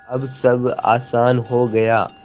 अब सब आसान हो गया